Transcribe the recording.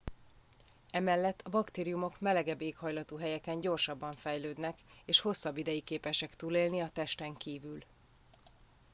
emellett a baktériumok melegebb éghajlatú helyeken gyorsabban fejlődnek és hosszabb ideig képesek túlélni a testen kívül